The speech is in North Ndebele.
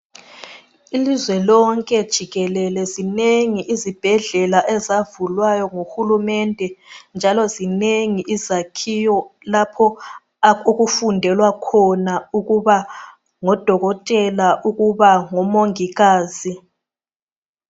Ilizwe lonke jikelele zinengi izibhedlela ezavulwayo nguHulumende njalo zinengi izakhiwo lapho okufundelwa khona ukuba ngodokotela, ukuba ngomongikazi.